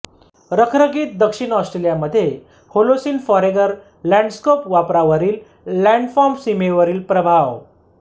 रखरखीत दक्षिण ऑस्ट्रेलियामध्ये होलोसिन फॉरेगर लॅंडस्केप वापरावरील लॅंडफॉर्म सीमेवरील प्रभाव